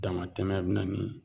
Damatɛmɛ bɛ na ni